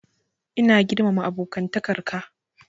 Ina girmama abokantakar ka.